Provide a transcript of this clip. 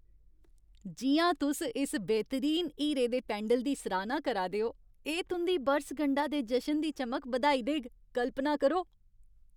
जि'यां तुस इस बेह्तरीन हीरे दे पैंडल दी सराह्ना करा दे ओ, एह् तुं'दी बरसगंढा दे जशन दी चमक बधाई देग, कल्पना करो।